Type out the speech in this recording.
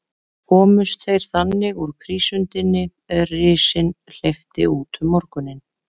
Komust þeir þannig úr prísundinni, er risinn hleypti út um morguninn.